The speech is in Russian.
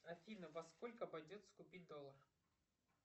афина во сколько обойдется купить доллар